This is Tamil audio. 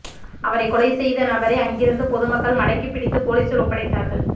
அவரைக் கொலை செய்த நபரை அங்கிருந்த பொதுமக்கள் மடக்கிப்பிடித்து பொலிசில் ஒப்படைத்தார்கள்